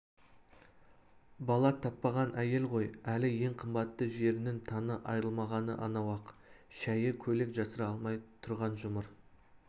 бала таппаған әйел ғой әлі ең қымбатты жерінің таңы айырылмағаны анау ақ шәйі көйлек жасыра алмай тұрған жұмыр